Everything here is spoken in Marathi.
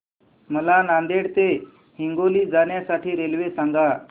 मला नांदेड ते हिंगोली जाण्या साठी रेल्वे सांगा